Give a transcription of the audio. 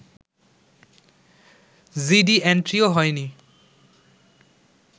GD এন্ট্রিও হয়নি